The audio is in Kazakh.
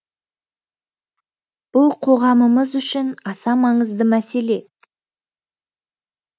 бұл қоғамымыз үшін аса маңызды мәселе